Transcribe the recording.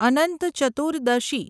Anant Chaturdashi